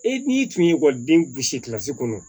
E n'i tun ye ekɔliden gusi kɔnɔ